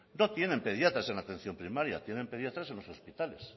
no tienen pediatras en la atención primaria tienen pediatras en los hospitales